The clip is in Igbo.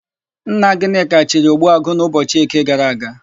Nna Gịnịka chiri, Ogbuagụ n'ụbọchị Eke gara aga.